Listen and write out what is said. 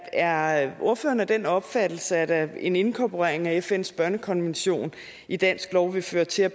er er ordføreren af den opfattelse at en inkorporering af fns børnekonvention i dansk lov vil føre til at